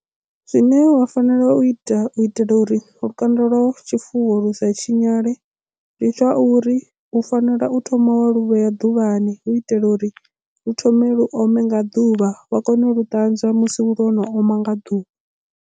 Zwine wa fanela u ita u itela uri lukanda lwa tshifuwo lu sa tshinyale ndi zwa uri u fanela u thoma wa luvhea ḓuvhani hu itela uri lu thome lu ome nga ḓuvha vha kone u lu ṱanzwa musi lwo no oma nga ḓuvha.